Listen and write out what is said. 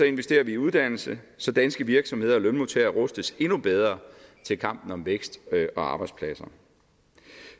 investerer vi i uddannelse så danske virksomheder og lønmodtagere rustes endnu bedre til kampen om vækst og arbejdspladser